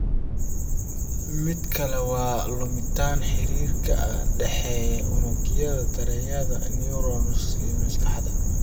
Mid kale waa luminta xiriirka ka dhexeeya unugyada dareemayaasha (neurons) ee maskaxda.